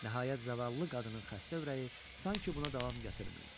Nəhayət, zavallı qadının xəstə ürəyi sanki buna davam gətirmirdi.